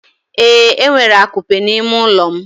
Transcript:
Ee, enwere akupe n'ime ụlọ m.